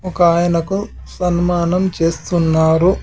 ఒక ఆయనకు సన్మానం చేస్తున్నారు.